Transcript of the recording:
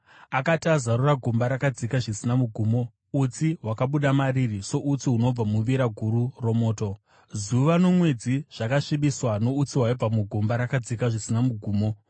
Akati azarura gomba rakadzika zvisina mugumo, utsi hwakabuda mariri soutsi hunobva muvira guru romoto. Zuva nomwedzi zvakasvibiswa noutsi hwaibva mugomba rakadzika zvisina mugumo.